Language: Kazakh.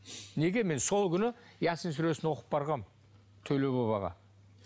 неге мен сол күні ясин сүресін оқып барғанмын төле бабаға